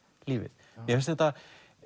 lífið mér finnst þetta